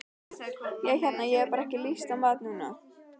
Ég hérna. ég hef bara ekki lyst á mat núna.